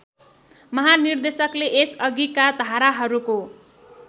महानिर्देशकले यसअघिका धाराहरूको